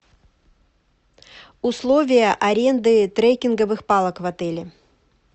условия аренды трекинговых палок в отеле